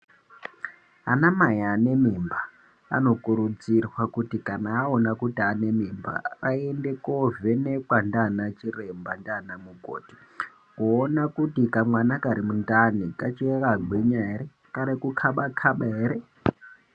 Anamai añe mimba anokurudzirwa kuti kana aona kuti ane mimba aende kovhenekwa ndiana chiremba ndiana mukoti kuona kuti kamwana kari mundani kachakagwinya ere kari kukaba kaba ere .